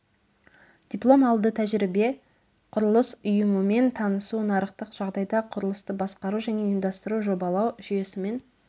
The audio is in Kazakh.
диплом алды тәжірибе құрылыс ұйымымен танысу нарықтық жағдайда құрылысты басқару және ұйымдастыру жобалау жүйесімен